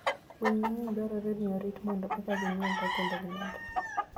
Winy mang'eny dwarore ni orit mondo eka ginyuolre kendo gimedre.